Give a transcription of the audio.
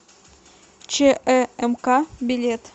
чэмк билет